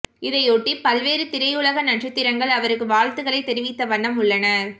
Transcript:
இதையொட்டி பல்வேறு திரையுலக நட்சத்திரங்கள் அவருக்கு வாழ்த்துகளை தெரிவித்த வண்ணம் உள்ளனர்